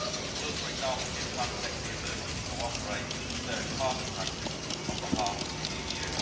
It will, for example, give FRONTEX the ability to cooperate with third party countries on behalf of the EU.